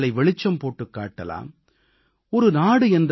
புதிய புதிய கருத்துக்களை வெளிச்சம் போட்டுக் காட்டலாம்